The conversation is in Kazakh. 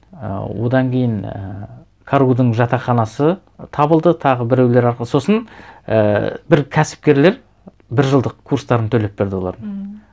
і одан кейін ііі каргу дің жатақханасы табылды тағы біреулер арқылы сосын ііі бір кәсіпкерлер бір жылдық курстарын төлеп берді олардың ммм